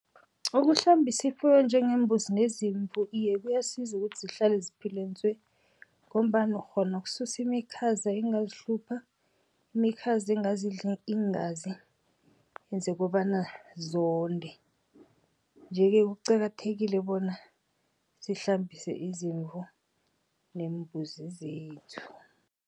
Ukuhlambisa ifuyo njengeembuzi neziimvu iye kuyasiza ukuthi zihlale ziphile ntswe, ngombana ukghona ukususa imikhaza engazihlupha, imikhaza engingazidla iingazi enze kobana zonde. Nje-ke kuqakathekile bona sihlambise izimvu neembuzi zethu.